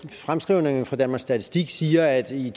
fremskrivningen fra danmarks statistik siger at i